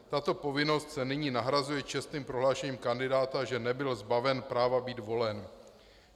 Tato povinnost se nyní nahrazuje čestným prohlášením kandidáta, že nebyl zbaven práva být volen.